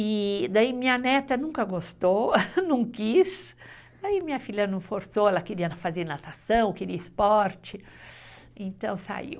E daí minha neta nunca gostou, não quis, aí minha filha não forçou, ela queria fazer natação, queria esporte, então saiu.